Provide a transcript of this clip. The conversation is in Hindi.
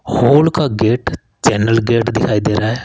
हॉल का गेट चैनल गेट दिखाई दे रहा है।